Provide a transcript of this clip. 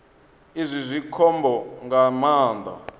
izwi zwi khombo nga maanḓa